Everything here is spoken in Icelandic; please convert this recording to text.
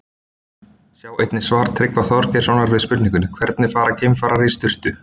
Sjá einnig svar Tryggva Þorgeirssonar við spurningunni Hvernig fara geimfarar í sturtu?